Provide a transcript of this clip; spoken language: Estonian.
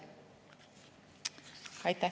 Aitäh!